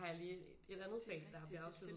Har jeg lige et andet fag der bliver afsluttet